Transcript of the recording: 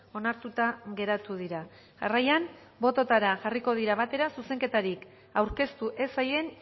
onartuta geratu dira jarraian botoetara jarriko dira batera zuzenketarik aurkeztu ez zaien